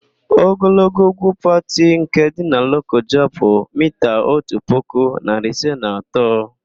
Ogologo úgwú Pati nke dị na Lokoja bụ miita otu puku, narị ise na atọ.